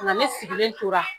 o la ne sigilen tora